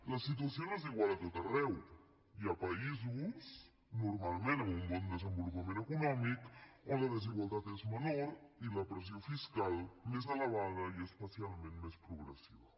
la situació no és igual a tot arreu hi ha països normalment amb un bon desenvolupament econòmic on la desigualtat és menor i la pressió fiscal més elevada i especialment més progressiva